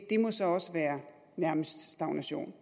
det må så også være nærmest stagnation